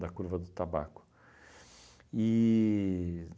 da curva do tabaco. E